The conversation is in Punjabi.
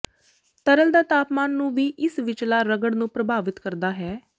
ਤਰਲ ਦਾ ਤਾਪਮਾਨ ਨੂੰ ਵੀ ਇਸ ਵਿਚਲਾ ਰਗੜ ਨੂੰ ਪ੍ਰਭਾਵਿਤ ਕਰਦਾ ਹੈ